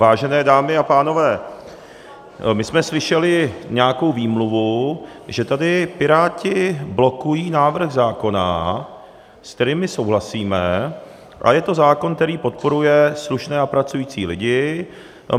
Vážené dámy a pánové, my jsme slyšeli nějakou výmluvu, že tady Piráti blokují návrh zákona, se kterým my souhlasíme, a je to zákon, který podporuje slušné a pracující lidi.